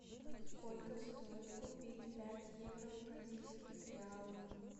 сколько стоит купить пять евро в бразильских реалах